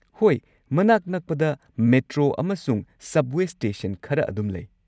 ꯍꯣꯏ, ꯃꯅꯥꯛ ꯅꯛꯄꯗ ꯃꯦꯇ꯭ꯔꯣ ꯑꯃꯁꯨꯡ ꯁꯕꯋꯦ ꯁ꯭ꯇꯦꯁꯟ ꯈꯔ ꯑꯗꯨꯝ ꯂꯩ꯫